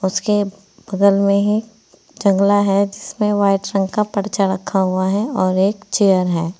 उसके बगल में ही जंगला है जिसमें व्हाइट रंग का पर्चा रखा हुआ है और एक चेयर है।